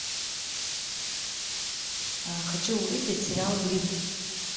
хочу увидеть сериал гримм